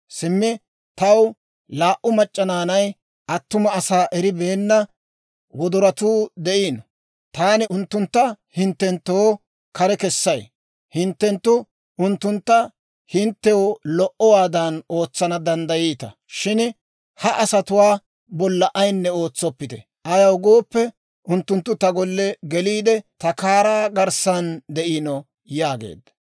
Simmi taw laa"u mac'c'a naanay, attuma asaa eribeenna wodoratuu de'iino; taani unttuntta hinttenttoo kare kessay; hinttenttu unttuntta hinttew lo"owaadan ootsana danddayiita. Shin ha asatuwaa bolla ayinne ootsoppite; ayaw gooppe, unttunttu ta golle geliide ta kaaraa garssan de'iino» yaageedda.